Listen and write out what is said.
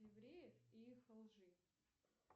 евреев и их лжи